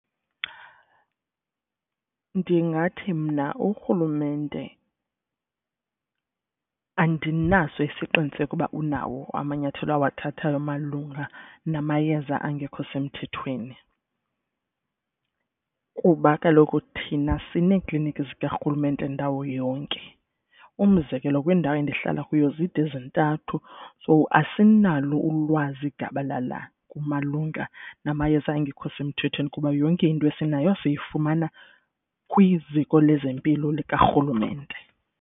Ndingathi mna urhulumente andinaso isiqiniseko ukuba unawo amanyathelo awathathayo malunga namayeza angekho semthethweni. Kuba kaloku thina sineekliniki zikarhulumente ndawo yonke umzekelo kwindawo endihlala kuyo zide zintathu. So asinalo ulwazi gabalala kumalunga namayeza angekho semthethweni kuba yonke into esinayo siyifumana kwiziko lezempilo likarhulumente.